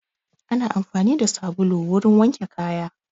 Ana amfani da sabulu wurin wanke kaya